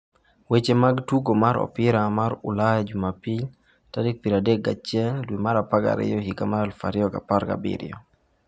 Weche mag Tugo mar Opira mar Ulaya Jumapil 31.12.2017